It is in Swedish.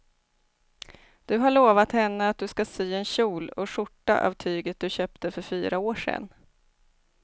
Du har lovat henne att du ska sy en kjol och skjorta av tyget du köpte för fyra år sedan.